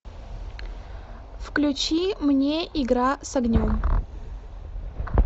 включи мне игра с огнем